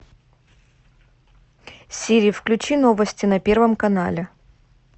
сири включи новости на первом канале